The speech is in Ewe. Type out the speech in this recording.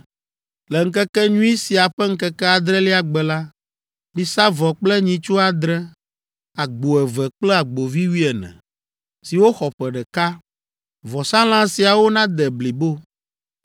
“Le ŋkekenyui sia ƒe ŋkeke adrelia gbe la, misa vɔ kple nyitsu adre, agbo eve kple agbovi wuiene, siwo xɔ ƒe ɖeka. Vɔsalã siawo nade blibo.